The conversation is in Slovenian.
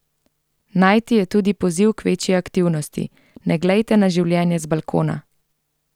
Najti je tudi poziv k večji aktivnosti: "Ne glejte na življenje z balkona!